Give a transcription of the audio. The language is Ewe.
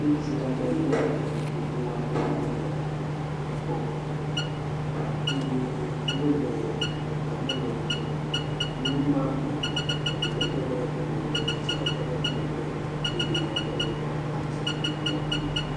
Ŋutsu aɖe kple evi gbogbo aɖe wole egbɔ, eye wole watermelon ɖuu woma me eye eɖewo tɔ ɖe eƒe megbe tsitsiawo tɔ ɖe eƒe megbe eye ɖeviawo tɔ ɖe eƒe exa dzi.